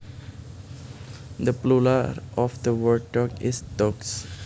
The plural of the word dog is dogs